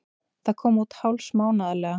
Það kom út hálfsmánaðarlega.